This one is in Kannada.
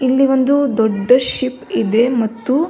ಇಲ್ಲಿ ಒಂದು ದೊಡ್ಡ ಶಿಪ್ ಇದೆ ಮತ್ತು --